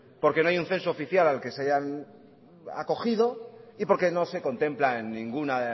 porque no hay un censo oficial al que se hayan acogido y porque no se contempla en ninguna